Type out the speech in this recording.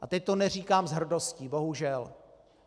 A teď to neříkám s hrdostí, bohužel.